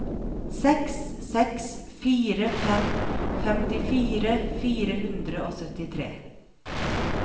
seks seks fire fem femtifire fire hundre og syttitre